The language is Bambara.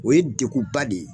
O ye degun ba de ye.